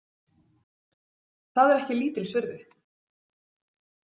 Það er ekki lítils virði.